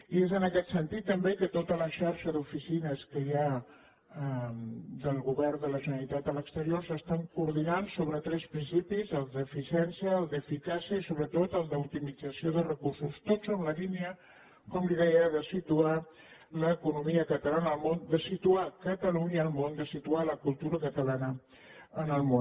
i és en aquest sentit també que tota la xarxa d’oficines que hi ha del govern de la generalitat a l’exterior s’està coordinant sobre tres principis el d’eficiència el d’eficàcia i sobretot el d’optimització dels recursos tots en la línia com li deia de situar l’economia catalana al món de situar catalunya al món de situar la cultura catalana al món